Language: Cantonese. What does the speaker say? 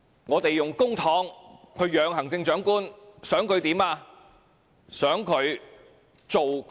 我們用公帑去"養"行政長官，想他做甚麼？